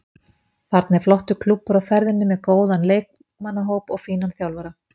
Þarna er flottur klúbbur á ferðinni með góðan leikmannahóp og fínan þjálfara.